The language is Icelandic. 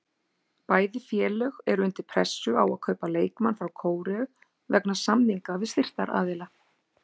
Bæði félög eru undir pressu á að kaupa leikmann frá Kóreu vegna samninga við styrktaraðila.